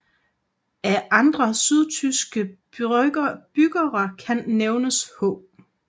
Af andre sydtyske byggere kan nævnes H